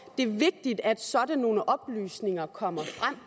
er vigtigt at sådan nogle oplysninger kommer frem